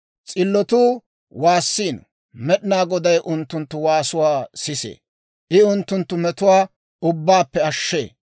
S'illotuu waassiino; Med'inaa Goday unttunttu waasuwaa sisee. I unttunttu metuwaa ubbaappe ashshee.